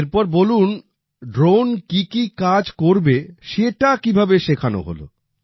এরপর বলুন ড্রোন কি কি কাজ করবে সেটা কিভাবে শেখানো হলো